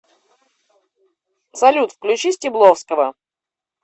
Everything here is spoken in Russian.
салют включи стебловского